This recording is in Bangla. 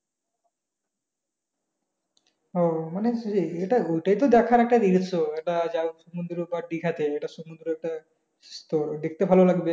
ও মানে এইটা ওইটা তো দেখার একটা যাহোক সমুদ্র হোক বা দিঘা তে একটা সমুদ্র একটা তোর দেখতে ভালো লাগবে